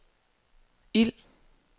ild